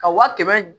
Ka wa kɛmɛ